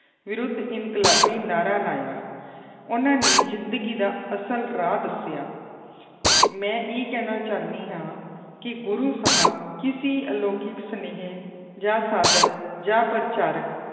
ਵਿਰੱਧ ਇਨਕਲਾਬੀ ਨਾਰਾ ਲਾਇਆ ਉਹਨਾਂ ਨੇ ਜ਼ਿੰਦਗੀ ਦਾ ਅਸਲ ਰਾਹ ਦੱਸਿਆ ਮੈਂ ਇਹ ਕਹਿਣਾ ਚਾਹੁੰਦੀ ਹਾਂ ਕਿ ਗੁਰੂ ਸਾਹਿਬ ਕਿਸੀ ਅਲੋਕਿਕ ਸੁਨੇਹੇ ਜਾਂ ਸਾਦਕ ਜਾਂ ਪ੍ਰਚਾਰਕ